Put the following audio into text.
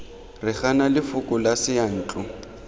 re gana lefoko la seyantlo